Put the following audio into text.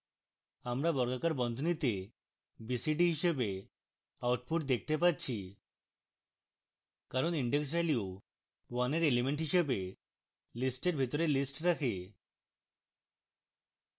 আমরা বর্গাকার বন্ধনীতে b c d হিসাবে output দেখতে পাচ্ছি কারণ index value one we element হিসাবে list we ভিতরে list রাখে